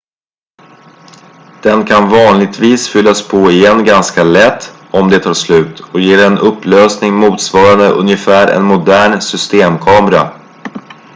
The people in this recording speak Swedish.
den kan vanligtvis fyllas på igen ganska lätt om det tar slut och ger en upplösning motsvarande ungefär en modern systemkamera